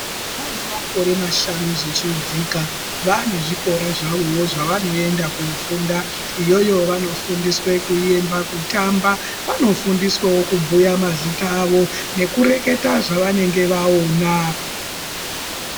Vana vane makore mashanu zvichidzika vane zvikora zvavovo zvavanoenda kunofunda. Iyoyo vanofundiswa kuyemba, kutamba vanofundiswavo kubhuya mazita avo nekueketa zvavanange vaona.